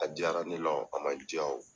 A diyara ne la o a man diya o